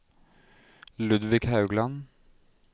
Ludvig Haugland